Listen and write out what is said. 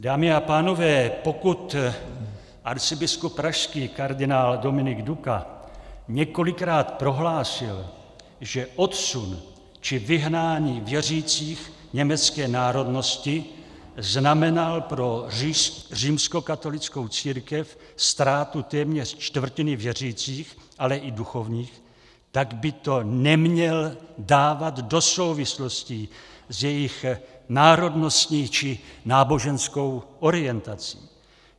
Dámy a pánové, pokud arcibiskup pražský kardinál Dominik Duka několikrát prohlásil, že odsun či vyhnání věřících německé národnosti znamenal pro římskokatolickou církev ztrátu téměř čtvrtiny věřících, ale i duchovních, tak by to neměl dávat do souvislostí s jejich národností či náboženskou orientací.